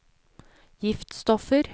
giftstoffer